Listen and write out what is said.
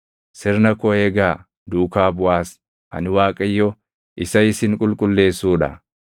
Sirna koo eegaa; duukaa buʼaas. Ani Waaqayyo isa isin qulqulleessuu dha.